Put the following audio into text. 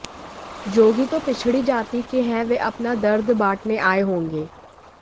जोगी तो पिछड़ी जाति के हैं वे अपना दर्द बांटने आये होंगे